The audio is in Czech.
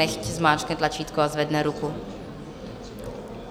Nechť zmáčkne tlačítko a zvedne ruku.